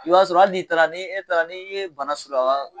I b'a sɔrɔ ali n'i taara ni e taara n'i ye bana sɔrɔ